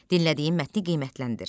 Dinlədiyin mətni qiymətləndir.